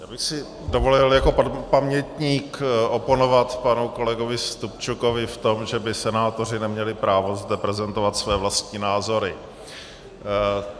Já bych si dovolil jako pamětník oponovat panu kolegovi Stupčukovi v tom, že by senátoři neměli právo zde prezentovat své vlastní názory.